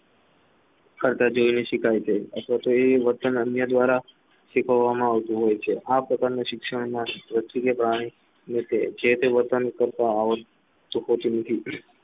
વર્તન અન્ય દ્વારા શીખવવામાં આવતું હોય છે આ પ્રકારનું શિક્ષણમાં જે તે વર્તન કરતા લોકોથી